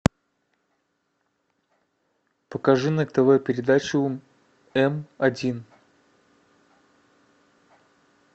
покажи на тв передачу м один